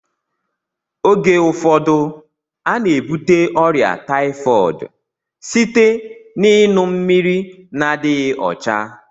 Oge ụfọdụ a na-ebute ọrịa taifọdụ site n'iṅu mmiri na-adịghị ọcha